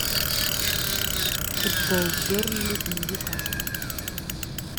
футбол бернли и ньюкасла